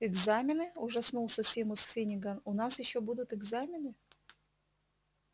экзамены ужаснулся симус финниган у нас ещё будут экзамены